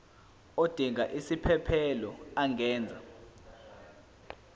odinga isiphesphelo angenza